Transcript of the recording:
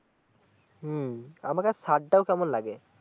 হম আমাগো ছাদটা ও কেমন লাগে